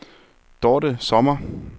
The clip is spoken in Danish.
Dorthe Sommer